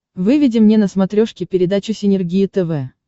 выведи мне на смотрешке передачу синергия тв